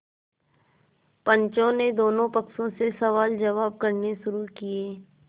पंचों ने दोनों पक्षों से सवालजवाब करने शुरू किये